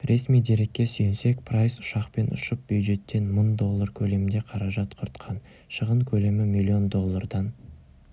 ресми дерекке сүйенсек прайс ұшақпен ұшып бюджеттен мың доллары көлемінде қаражат құртқан шығын көлемі миллион доллардан